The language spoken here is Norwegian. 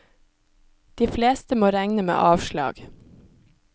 De fleste må regne med avslag.